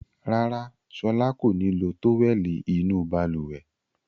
Rárá, Ṣọlá kò ní lo tówẹ́lì inú balùwẹ̀.